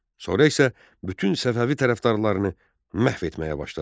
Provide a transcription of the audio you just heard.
Sonra isə bütün Səfəvi tərəfdarlarını məhv etməyə başladı.